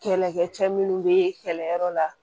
Kɛlɛkɛcɛ minnu be kɛlɛyɔrɔ la